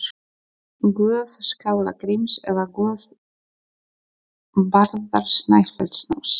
Guð Skalla-Gríms, eða guð Bárðar Snæfellsáss?